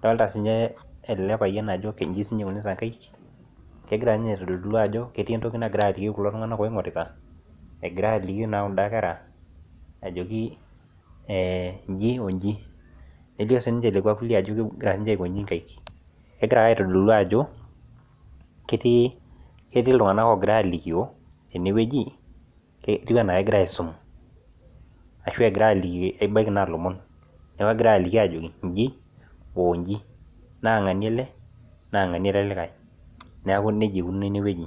Adolta sinye ele payian ajo nchi siinye ikunita kaek, kegira nye aitodolu ajo ketii entoki nagira atii kulo tung'anak oing'orita egira aaliki naa kunda kera ajoki ee nji oo nji. Nelio siinche ilekua kulie ajo kegira siinche aiko nchi nkaek, kegira ake aitodolu ajo ketii ketii iltung'anak oogira aalikio tene wueji ke ketiu enaake egirai aisum ashu egirai aaliki ebaiki naa ilomon. Neeku egirai aaliki aajoki nji oo nji naa ng'ania ele naa ng'ania ele likae. Neeku neija ikununo ene wueji.